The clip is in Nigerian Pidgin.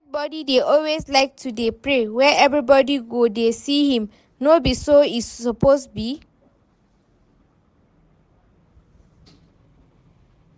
Dat boy dey always like to dey pray where everybody go dey see him, no be so e suppose be